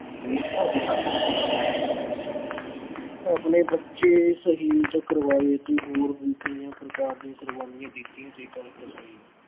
ਆਪਣੇ ਬੱਚੇ ਸ਼ਹੀਦ ਕਰਵਾਏ ਅਤੇ ਹੋਰ ਵੀ ਕਈਆਂ ਪ੍ਰਕਾਰ ਦੀਆਂ ਕੁਰਬਾਨੀਆਂ ਦਿੱਤੀਆਂ